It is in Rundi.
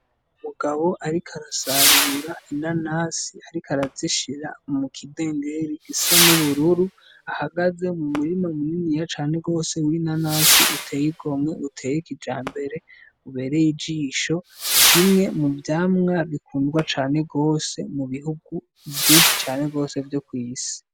Umugabo, ariko arasarura inanasi arik arazishira mu kidengere gisa n'ubururu ahagaze mu murima muniniya cane rwose winanasi uteye iromwe uteye ikija mbere ubereye ijisho kimwe mu vyamwa bikundwa cane rwose mu bihugu vyinshi cane rwose vyo kw'isi.